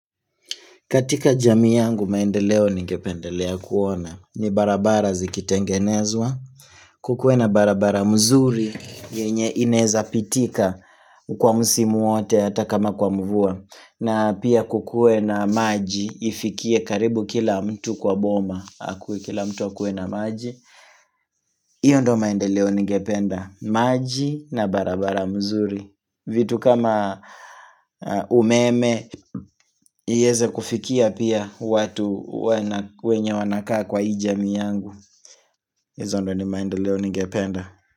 Katika jamii yangu maendeleo ningependelea kuona ni barabara zikitengenezwa. Kukuwe na barabara mzuri yenye inaweza pitika kwa musimu wote hata kama kwa mvua. Na pia kukue na maji ifikie karibu kila mtu kwa boma. Akue kila mtu akue na maji. Hiyo ndio maendeleo ningependa maji na barabara mzuri. Vitu kama umeme iweze kufikia pia watu wenye wanakaa kwa hii jamii yangu Izo ndo ni maendoleo ningependa.